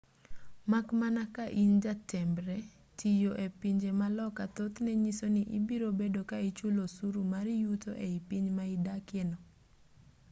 mak mana ka in jambetre tiyo e pinje ma loka thothne nyiso ni ibiro bedo ka ichulo osuru mar yuto ei piny ma idakie no